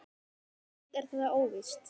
Allt er það þó óvíst.